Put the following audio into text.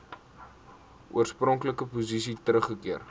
oorspronklike posisie teruggekeer